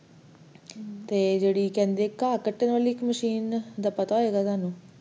ਤੇ ਇੱਕ ਕਹਿੰਦੇ ਘਾ ਕੱਟਣ ਵਾਲੀ ਦਾ machine, ਪਤਾ ਹੋਏਗਾ ਤੁਹਾਨੂੰ